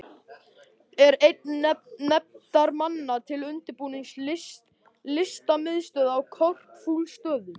Er einn nefndarmanna til undirbúnings Listamiðstöð á Korpúlfsstöðum.